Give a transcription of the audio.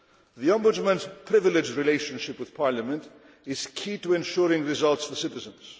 The Ombudsman's privileged relationship with Parliament is key to ensuring results for citizens.